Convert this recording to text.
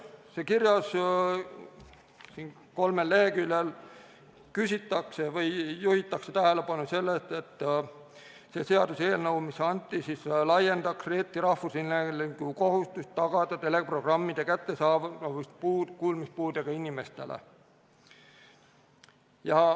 Siin kirjas, kolmel leheküljel küsitakse või juhitakse tähelepanu sellele, et see seaduseelnõu, mis anti, laiendaks Eesti Rahvusringhäälingu kohustust tagada teleprogrammide kättesaadavus kuulmispuudega inimestele.